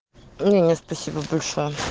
нет спасибо большое